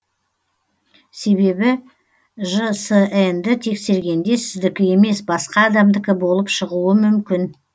себебі жсн ді тексергенде сіздікі емес басқа адамдікі болып шығуы мүмкін